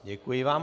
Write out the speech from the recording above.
Děkuji vám.